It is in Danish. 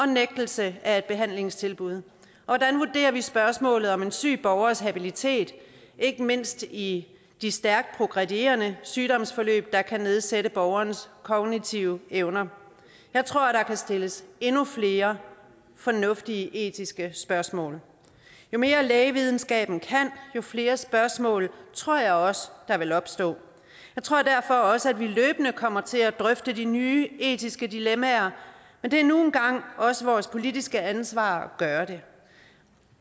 nægtelse af et behandlingstilbud og hvordan vurderer vi spørgsmålet om en syg borgers habilitet ikke mindst i de stærkt progredierende sygdomsforløb der kan nedsætte borgerens kognitive evner jeg tror der kan stilles endnu flere fornuftige etiske spørgsmål jo mere lægevidenskaben kan jo flere spørgsmål tror jeg også der vil opstå jeg tror derfor også vi løbende kommer til at drøfte de nye etiske dilemmaer men det er nu engang også vores politiske ansvar at gøre det